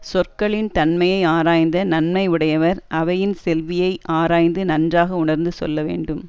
சொற்களின் தன்மையை ஆராய்ந்த நன்மை உடையவர் அவையின் செவ்வியை ஆராய்ந்து நன்றாக உணர்ந்து சொல்ல வேண்டும்